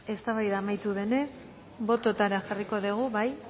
eztabaida amaitu denez botoetara jarriko dugu bai